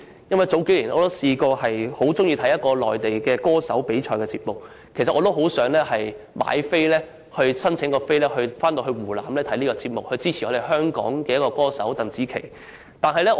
數年前，我很喜歡觀看一個內地歌手比賽節目，很想申請入場券前往湖南現場觀看，以及支持香港歌手鄧紫棋。